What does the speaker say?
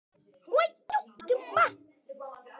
Þinn Jón Valur.